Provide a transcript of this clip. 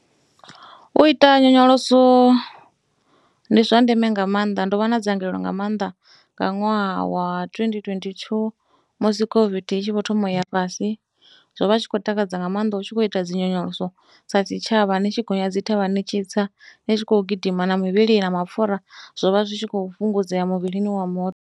U ita nyonyoloso ndi zwa ndeme nga maanḓa ndo vha na dzangalelo nga maanḓa nga ṅwaha wa twendi twendi thuu musi COVID i tshi vho thoma u ya fhasi. Zwo vha tshi khou takadza nga maanḓa u tshi khou ita dzi nyonyoloso sa tshitshavha u tshi gonya dzi thavha ni tshi tsa. Ni tshi khou gidima na mivhili na mapfhura zwo vha zwi tshi khou fhungudzea muvhilini wa muthu.